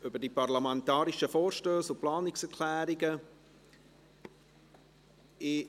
Parlamentarische Vorstösse und Planungserklärungen 2019».